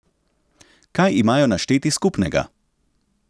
Kaj imajo našteti skupnega?